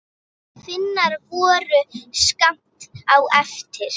Finnar voru skammt á eftir.